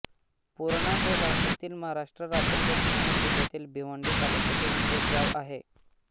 पुर्णा हे भारतातील महाराष्ट्र राज्यातील ठाणे जिल्ह्यातील भिवंडी तालुक्यातील एक गाव आहे